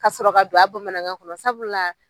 Ka sɔrɔ ka don a bamanankan kɔnɔ sabula